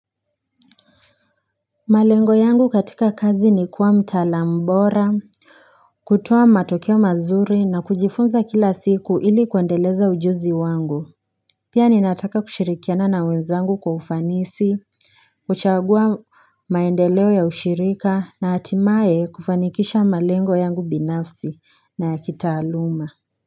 Malengo yangu katika kazi ni kuwa mtaalam bora, kutoa matokeo mazuri na kujifunza kila siku ili kuendeleza ujuzi wangu. Pia ninataka kushirikiana na wenzangu kwa ufanisi, kuchagua maendeleo ya ushirika na hatimae kufanikisha malengo yangu binafsi na ya kitaaluma.